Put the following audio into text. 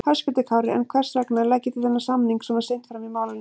Höskuldur Kári: En hvers vegna leggið þið þennan samning svona seint fram í málinu?